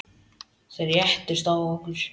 Þeir réðust á okkur.